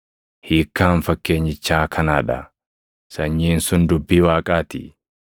“Hiikkaan fakkeenyichaa kanaa dha: Sanyiin sun dubbii Waaqaa ti.